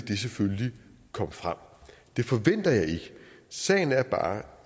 det selvfølgelig komme frem det forventer jeg ikke sagen er bare